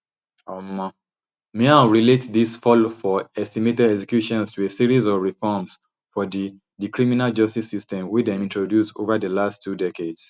um miao relate dis fall for estimated executions to a series of reforms for di di criminal justice system wey dem introduce ova di last two decades